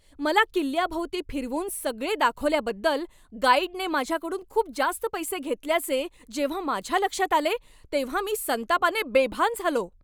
मला किल्ल्याभोवती फिरवून सगळे दाखवल्याबद्दल गाईडने माझ्याकडून खूप जास्त पैसे घेतल्याचे जेव्हा माझ्या लक्षात आले तेव्हा मी संतापाने बेभान झालो.